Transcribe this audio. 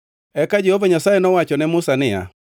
Eka Jehova Nyasaye nowacho ne Musa niya,